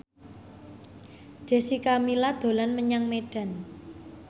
Jessica Milla dolan menyang Medan